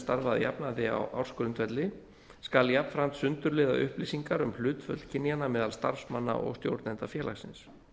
starfa að jafnaði á ársgrundvelli skal jafnframt sundurliða upplýsingar um hlutföll kynjanna meðal starfsmanna og stjórnenda félagsins